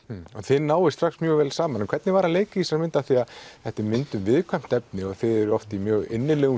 þið náið strax mjög vel saman hvernig var að leika í þessari mynd því að þetta er mynd um viðkvæmt efni og þið eruð oft í mjög innilegum